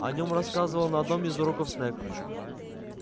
о нём рассказывал на одном из уроков снегг